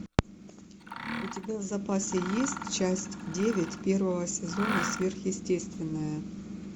у тебя в запасе есть часть девять первого сезона сверхъестественное